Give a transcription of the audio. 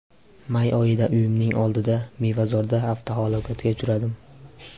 May oyida uyimning oldida, Mevazorda avtohalokatga uchradim.